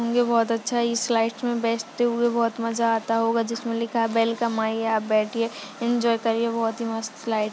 होंगे बहुत अच्छा इस स्लाइड मे बैठ ते हुए बहुत मजा आता होगा जिसमे लिखा है वेलकम आईए आप बैठीए एंजॉय करिए। बहुत ही मस्त स्लाइड --